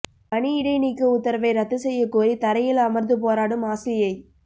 பணி இடைநீக்க உத்தரவை ரத்துசெய்யக் கோரி தரையில் அமர்ந்து போராடும் ஆசிரியை